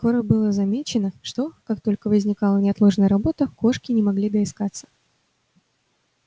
скоро было замечено что как только возникала неотложная работа кошки не могли доискаться